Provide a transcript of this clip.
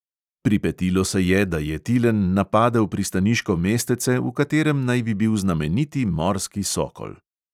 Pripetilo se je, da je tilen napadel pristaniško mestece, v katerem naj bi bil znameniti morski sokol.